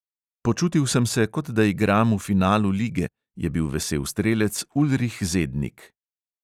"Počutil sem se, kot da igram v finalu lige, " je bil vesel strelec ulrih zednik.